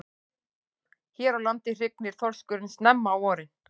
Hér á landi hrygnir þorskurinn snemma á vorin.